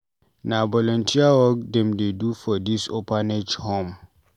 Na volunteer work dem dey do for dis orphanage home.